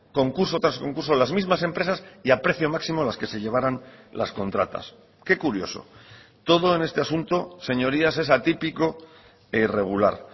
concurso tras concurso las mismas empresas y a precio máximo las que se llevaran las contratas qué curioso todo en este asunto señorías es atípico e irregular